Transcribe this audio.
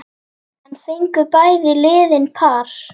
Enn fengu bæði liðin par.